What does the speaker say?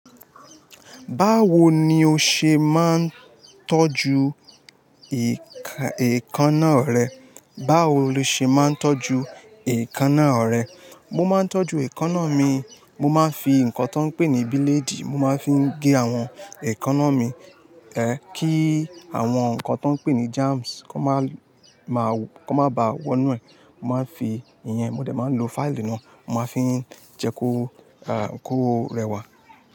Báwo ni o ṣe máa ń tọ́jú èékánná rẹ? Báwo ni o ṣe máa ń tọ́jú èékánná rẹ? Mo máa ń tọ́jú èékánná mi, mo máa ń fi nǹkan tó ń pé ní bílédì, mo máa ń fi gé àwọn èékánná mi, ẹ kí àwọn nǹkan tó ń pé ní germs kó má ba wọ́n nù e Mo máa ń fi ìyẹn, mo dẹ̀ máa ń lo fáìlì náà, mo máa ń fi jẹkó a, ko rẹwà.